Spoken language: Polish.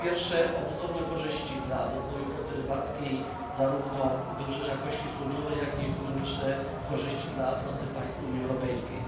Po pierwsze, obustronne korzyści dla rozwoju floty rybackiej zarówno Wybrzeża Kości Słoniowej, jak i ekonomiczne korzyści dla floty państw Unii Europejskiej.